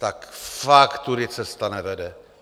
Tak fakt tudy cesta nevede.